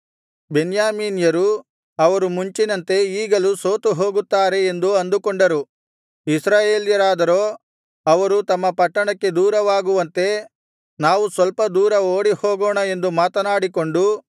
ಬೆನ್ಯಾಮೀನ್ಯರು ಅವರು ಮುಂಚಿನಂತೆ ಈಗಲೂ ಸೋತುಹೋಗುತ್ತಾರೆ ಎಂದು ಅಂದುಕೊಂಡರು ಇಸ್ರಾಯೇಲ್ಯರಾದರೋ ಅವರು ತಮ್ಮ ಪಟ್ಟಣಕ್ಕೆ ದೂರವಾಗುವಂತೆ ನಾವು ಸ್ವಲ್ಪ ದೂರ ಓಡಿಹೋಗೋಣ ಎಂದು ಮಾತನಾಡಿಕೊಂಡು